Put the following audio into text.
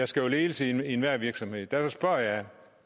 skal ledelse i enhver virksomhed